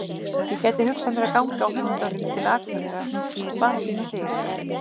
Ég gæti hugsað mér að ganga á höndunum til Akureyrar, bara fyrir þig.